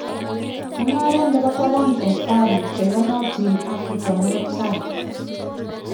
Mu'ngaret nebo taban eng Faru cheyonotin Afrika morot tai.